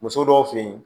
Muso dɔw fe yen